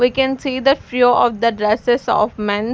We can see the few of the dresses of men.